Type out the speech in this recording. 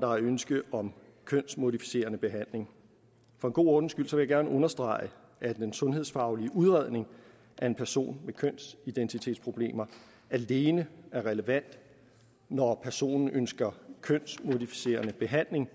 der er et ønske om kønsmodificerende behandling for en god ordens skyld vil jeg gerne understrege at den sundhedsfaglige udredning af en person med kønsidentitetsproblemer alene er relevant når personen ønsker kønsmodificerende behandling